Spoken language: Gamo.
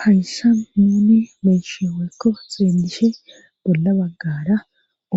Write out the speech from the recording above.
hayssa muuni beysheeykko xeendishe bolla baggara